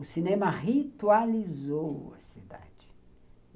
O cinema ritualizou a cidade.